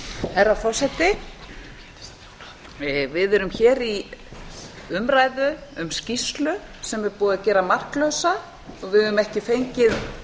herra forseti við erum hér í umræðu um skýrslu sem er búið að gera marklausa og við höfum ekki fengið